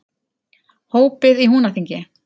Hópið í Húnaþingi.